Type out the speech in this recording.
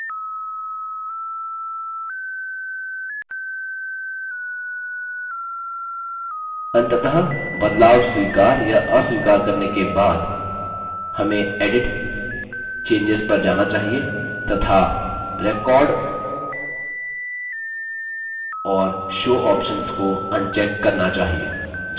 अंततः बदलाव स्वीकार या अस्वीकार करने के बाद हमें edit >> changes पर जाना चाहिए तथा record और show ऑप्शन्स को अनचेक करना चाहिए